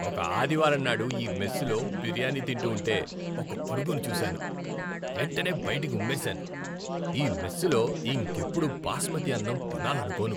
ఒక ఆదివారంనాడు ఈ మెస్సులో బిర్యానీ తింటూ ఉంటే ఒక పురుగును చూశాను, వెంటనే బయటికి ఉమ్మేశాను. ఈ మెస్సులో ఇంకెప్పుడూ బాస్మతి అన్నం తినాలనుకోను.